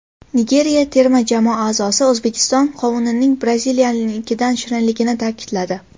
Nigeriya terma jamoasi a’zosi O‘zbekiston qovunining Braziliyanikidan shirinligini ta’kidladi.